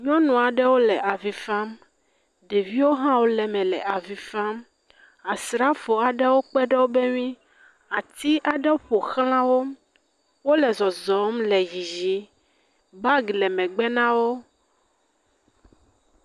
Nyɔnu aɖewo le avi fam. Ɖeviwo hã wole me le avi fam. Asrafo aɖewo kpe ɖe wobe ŋui, ati aɖe ƒo xla wo. Wole zɔzɔm le yiyim. Bag le megbe na wo.